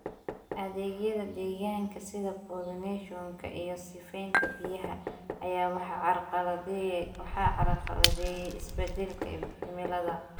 Adeegyada deegaanka, sida pollination-ka iyo sifaynta biyaha, ayaa waxaa carqaladeeyay isbeddelka cimilada.